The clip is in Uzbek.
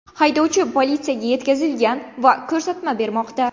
Haydovchi politsiyaga yetkazilgan va ko‘rsatma bermoqda.